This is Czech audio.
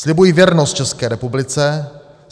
"Slibuji věrnost České republice.